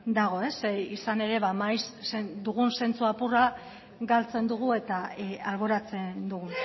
dago zeren izan ere maiz dugun zentzu apurra galtzen dugu eta alboratzen dugu